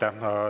Aitäh!